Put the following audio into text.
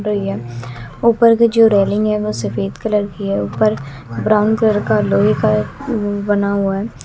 ऊपर की जो रेलिंग है वो सफेद कलर की है ऊपर ब्राउन कलर का लोहे का बना हुआ है।